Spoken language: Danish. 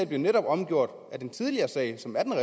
blev netop omgjort på grund af den tidligere sag